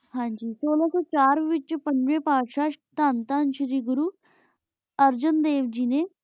ਉਨਾ ਕੋਲ ਪੰਜੀ ਪਾਸ਼ਾ ਤਾਂ ਤਾਂ ਸ਼ੀਰੀ ਘੁਰੁ ਅਰ੍ਜੇਨ ਦੇਵ ਜੀ ਨੀ